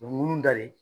U bɛ mun da de